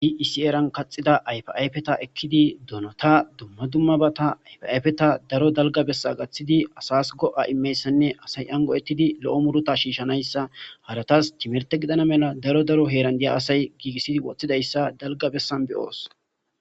issi eran kaxida ayfa ayfeta ekkidi donota dumma dummabata ayfayfeta daro dalgabessa gaththidi asas go7a immeyssanne asay ango7ettidi lo7o murota shiishshanayssa haratas timerte gidana mela daro daro heerandiya asay giigissidi woththidayssa dalgabessan beyoos